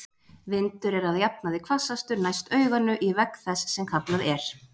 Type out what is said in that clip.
Vindur er að jafnaði hvassastur næst auganu, í vegg þess, sem kallað er.